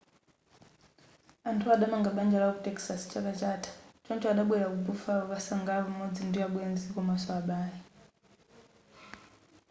anthuwa adamanga banja lawo ku texas chaka chatha choncho adabwera ku buffalo kukasangalala pamodzi ndi abwenzi komanso abale